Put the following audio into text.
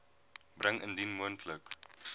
bring indien moontlik